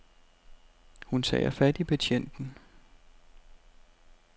Hun tager fat i betjenten.